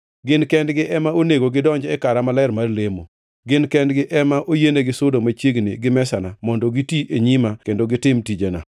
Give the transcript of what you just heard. Gin kendgi ema onego gidonji e kara maler mar lemo; gin kendgi ema oyienigi sudo machiegni gi mesana mondo giti e nyima kendo gitim tijena.